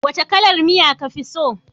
Wace kalar miya ka fi so